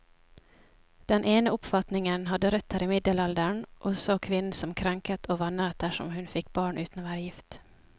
Den ene oppfatningen hadde røtter i middelalderen, og så kvinnen som krenket og vanæret dersom hun fikk barn uten å være gift.